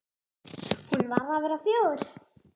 Hún var að verða fjögur.